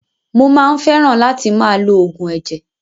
Mo máa ń fẹ́ràn látì máa lo oògùn ẹ̀jẹ̀.